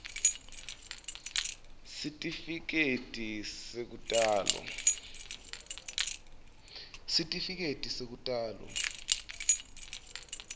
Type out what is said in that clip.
sitifiketi sekutalwa nobe